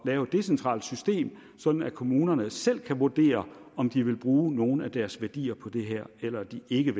lave et decentralt system sådan at kommunerne selv kan vurdere om de vil bruge nogle af deres værdier på det her eller de ikke